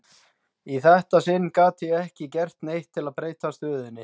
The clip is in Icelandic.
Í þetta sinn gat ég ekki gert neitt til að breyta stöðunni.